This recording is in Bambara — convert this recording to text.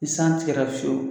I san tigɛra fiyewu